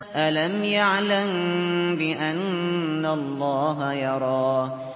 أَلَمْ يَعْلَم بِأَنَّ اللَّهَ يَرَىٰ